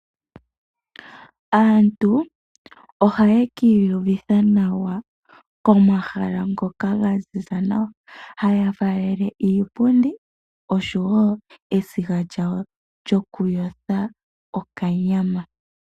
Aantu ohaya ki iyuvitha nawa komahala ngoka ga ziza nawa, haya faalele iipundi noshowo esiga lyawo lyokuyotha okanyama.